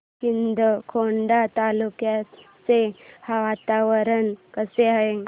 शिंदखेडा तालुक्याचे वातावरण कसे आहे